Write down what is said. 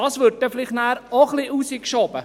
» Dies würde dann vielleicht auch hinausgeschoben.